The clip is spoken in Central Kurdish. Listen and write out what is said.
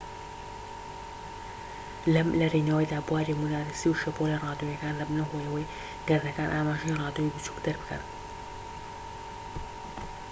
لەم لەرینەوەیەدا بواری موگناتیسی و شەپۆلە ڕادیۆییەکان دەبنە هۆی ئەوەی گەردەکان ئاماژەی ڕادیۆیی بچوك دەربکەن